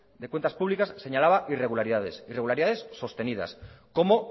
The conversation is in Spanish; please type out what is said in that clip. de cuentas públicas señalaba irregularidades sostenidas cómo